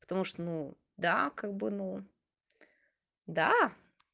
потому что ну да как бы ну да